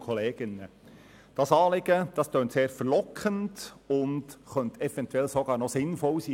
Das Anliegen der Motion tönt sehr verlockend und könnte eventuell sogar sinnvoll sein.